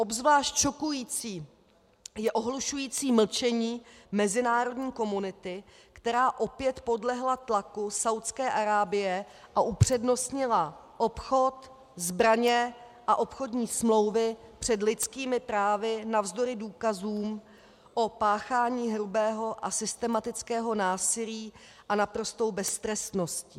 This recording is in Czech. Obzvlášť šokující je ohlušující mlčení mezinárodní komunity, která opět podlehla tlaku Saúdské Arábie a upřednostnila obchod, zbraně a obchodní smlouvy před lidskými právy navzdory důkazům o páchání hrubého a systematického násilí a naprostou beztrestností.